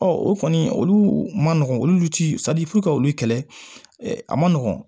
o kɔni olu ma nɔgɔn olu ti ka olu kɛlɛ a man nɔgɔn